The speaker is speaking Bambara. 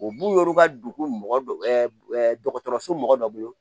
U b'u yɛrɛ ka dugu mɔgɔ dɔkɔtɔrɔso mɔgɔ dɔ bolo